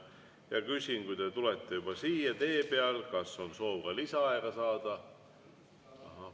Ja küsin, kui te tulete juba siia, kas on soov saada ka lisaaega.